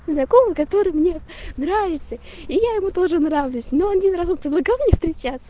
закон который мне нравится и я ему тоже нравлюсь ну один разок предлагал встречаться